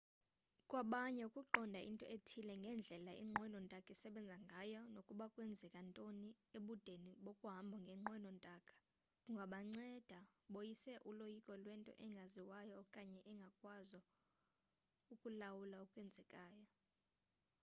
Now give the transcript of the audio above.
kwabanye ukuqonda into ethile ngendlela inqwelo ntaka esebenza ngayo nokuba kwenzeka ntoni ebudeni bokuhamba ngenqwelo ntaka kungabanceda boyise uloyiko lwento engaziwayo okanye ukungakwazo ukulawula okwenzekayo